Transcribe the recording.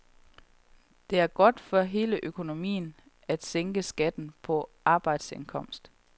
Det er godt for hele økonomien at sænke skatten på arbejdsindkomst.